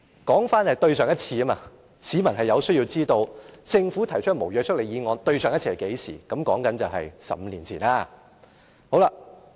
說回上一次，市民有需要知道政府上次提出無約束力議案是何時，便是15年前。